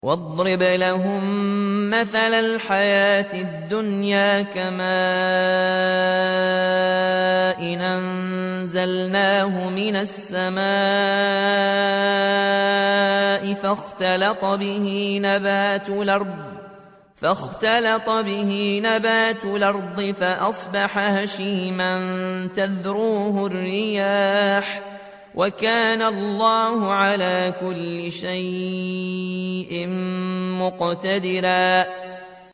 وَاضْرِبْ لَهُم مَّثَلَ الْحَيَاةِ الدُّنْيَا كَمَاءٍ أَنزَلْنَاهُ مِنَ السَّمَاءِ فَاخْتَلَطَ بِهِ نَبَاتُ الْأَرْضِ فَأَصْبَحَ هَشِيمًا تَذْرُوهُ الرِّيَاحُ ۗ وَكَانَ اللَّهُ عَلَىٰ كُلِّ شَيْءٍ مُّقْتَدِرًا